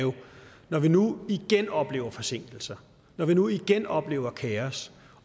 når vi nu igen oplever forsinkelser når vi nu igen oplever kaos